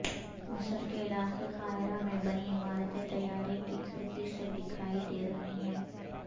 مصر کے علاقے قاہرہ میں بنی عمارتیں طیارے کی کھڑکی سے دکھائی دے رہی ہیں